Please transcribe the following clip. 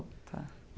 Tá.